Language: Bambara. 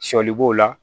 Sɔli b'o la